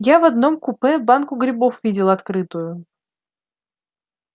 я в одном купе банку грибов видел открытую